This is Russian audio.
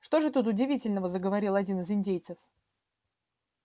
что же тут удивительного заговорил один из индейцев